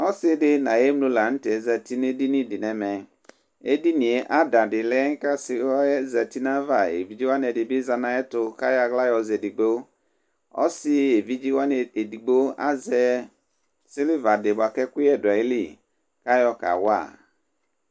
ɔsiidi nʋ ayi ɛmlɔ lantɛ zati nʋ ɛdini di nʋ ɛmɛ, ɛdiniɛ ada di lɛ kʋ ɔsiiɛ zati nʋ aɣa, ɛvidzɛ wani ɛdi zanʋ ayɛtʋ kʋ ayɔ ala yɔzɛ ɛdigbɔ, ɔsii ɛvidzɛ wani ɛdigbɔ azɛ silver di bʋakʋ ɛkʋyɛ dʋ ali kʋ ayɔ kawa